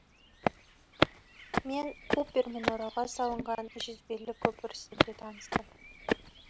мен купермен оралға салынған жүзбелі көпір үстінде таныстым